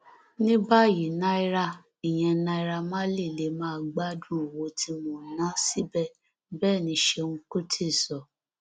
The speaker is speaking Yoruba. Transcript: ní báyìí naira ìyẹn naira marley lè máa gbádùn owó tí mo ná síbẹ bẹẹ ni ṣẹùn kùtì sọ